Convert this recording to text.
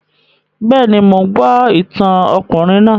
Bẹ́ẹ̀ni, mò ń gbọ́ ìtàn ọkùnrin náà